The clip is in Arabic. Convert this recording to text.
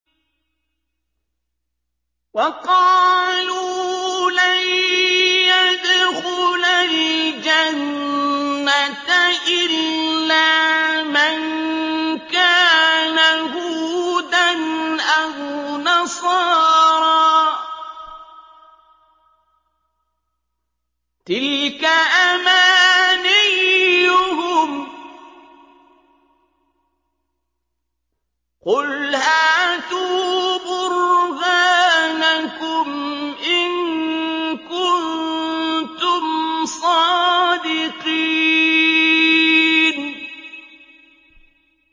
وَقَالُوا لَن يَدْخُلَ الْجَنَّةَ إِلَّا مَن كَانَ هُودًا أَوْ نَصَارَىٰ ۗ تِلْكَ أَمَانِيُّهُمْ ۗ قُلْ هَاتُوا بُرْهَانَكُمْ إِن كُنتُمْ صَادِقِينَ